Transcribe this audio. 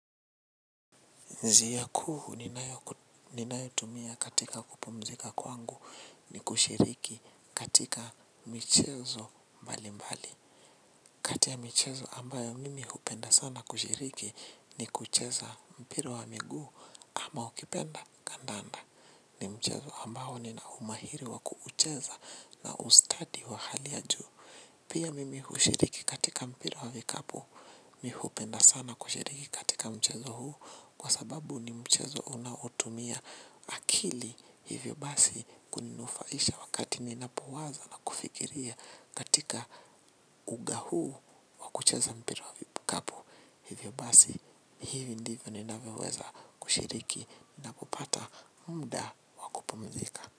Njia kuu ninayotumia katika kupumzika kwangu ni kushiriki katika michezo mbali mbali. Kati ya michezo ambayo mimi hupenda sana kushiriki ni kucheza mpira wa miguu ama ukipenda kandanda. Ni mchezo ambao nina umahiri wa kuucheza na ustadi wa hali ya juu. Pia, mimi hushiriki katika mpira vikapu mii hupenda sana kushiriki katika mchezo huu kwa sababu ni mchezo unautumia akili, hivyo basi kuninufaisha wakati ninapowaza na kufikiria katika uga huu wa kucheza mpira wa vikapu. Hivyo basi, hivyo ndivyo ninavyoweza kushiriki na kupata muda wa kupumzika.